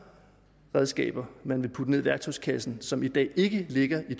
redskaber man vil putte ned i værktøjskassen som i dag ikke ligger i